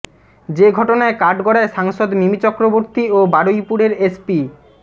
যে ঘটনায় কাঠগড়ায় সাংসদ মিমি চক্রবর্তী ও বারুইপুরের এসপি